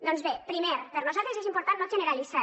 doncs bé primer per nosaltres és important no generalitzar